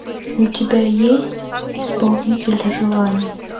у тебя есть исполнитель желаний